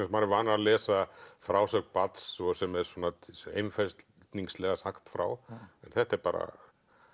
maður er vanur að lesa frásögn barns sem er einfeldningslega sagt frá en þetta er bara